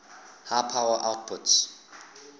high power outputs